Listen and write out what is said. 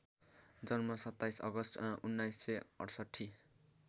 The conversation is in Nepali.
जन्म २७ अगस्ट १९६८